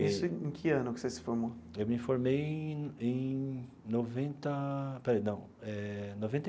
Isso em que ano que você se formou? Eu me formei em em noventa, espera aí, não eh noventa e.